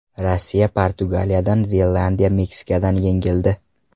Rossiya Portugaliyadan, Zelandiya Meksikadan yengildi.